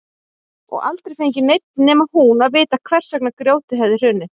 Og aldrei fengi neinn nema hún að vita hvers vegna grjótið hefði hrunið.